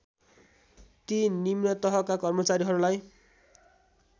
ती निम्नतहका कर्मचारीहरूलाई